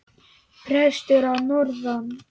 Prestur að norðan!